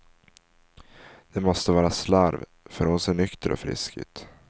Det måste vara slarv, för hon ser nykter och frisk ut.